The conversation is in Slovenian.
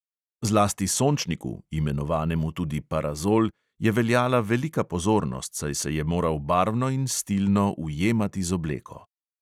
Zlasti sončniku, imenovanemu tudi parazol, je veljala velika pozornost, saj se je moral barvno in stilno ujemati z obleko.